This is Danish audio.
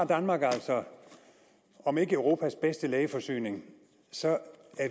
danmark har altså om ikke europas bedste lægeforsyning så